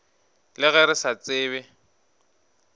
le ge re sa tsebe